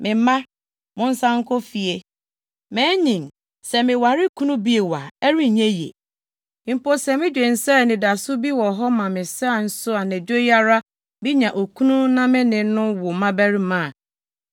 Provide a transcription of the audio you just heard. Me mma, monsan nkɔ fie. Manyin, sɛ meware kunu bio a, ɛrenyɛ yiye. Mpo, sɛ midwen sɛ anidaso bi wɔ hɔ ma me sɛ nso anadwo yi ara minya okunu na me ne no wo mmabarima a,